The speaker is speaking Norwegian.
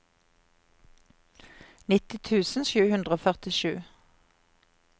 nitti tusen sju hundre og førtisju